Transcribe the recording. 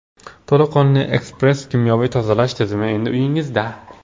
To‘laqonli ekspress-kimyoviy tozalash tizimi endi uyingizda.